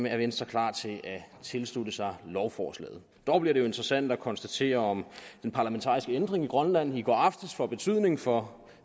er venstre klar til at tilslutte sig lovforslaget dog bliver det jo interessant at konstatere om den parlamentariske ændring i grønland i går aftes får betydning for